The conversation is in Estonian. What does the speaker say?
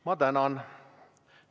Ma tänan!